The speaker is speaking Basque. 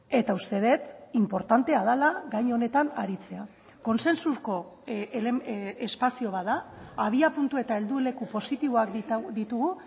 eta uste dut inportantea dela gai honetan aritzea kontsensuko espazio bat da abiapuntu eta helduleku positiboak ditugu